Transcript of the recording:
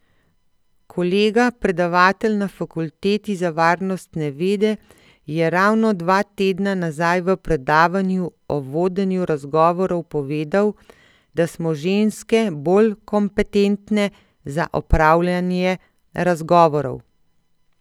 Kolega, predavatelj na Fakulteti za varnostne vede, je ravno dva tedna nazaj v predavanju o vodenju razgovorov povedal, da smo ženske bolj kompetentne za opravljanje razgovorov.